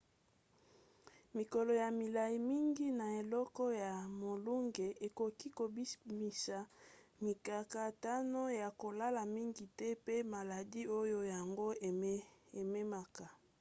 mikolo ya milai mingi na eleko ya molunge ekoki kobimisa mikakatano ya kolala mingi te pe maladi oyo yango ememaka